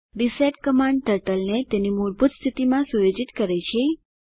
reset command ટર્ટલને તેની મૂળભૂત સ્થિતિમાં સુયોજિત કરે છે